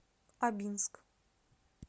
абинск